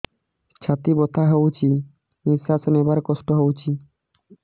ଛାତି ବଥା ହଉଚି ନିଶ୍ୱାସ ନେବାରେ କଷ୍ଟ ହଉଚି